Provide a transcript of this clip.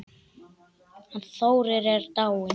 Hann Þórir er dáinn